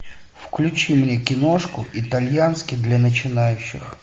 включи мне киношку итальянский для начинающих